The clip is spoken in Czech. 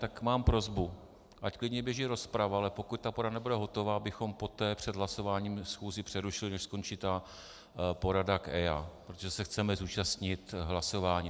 Tak mám prosbu, ať klidně běží rozprava, ale pokud ta porada nebude hotová, abychom poté před hlasováním schůzi přerušili, než skončí ta porada k EIA, protože se chceme zúčastnit hlasování.